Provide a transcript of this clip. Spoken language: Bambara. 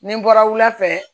Ni n bɔra wulafɛ